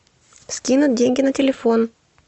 скинуть деньги на телефон